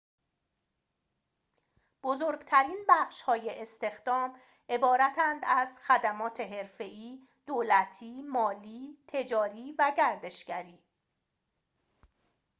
بزرگ‌ترین بخش‌های استخدام عبارتند از خدمات حرفه‌ای دولتی مالی تجاری و گردشگری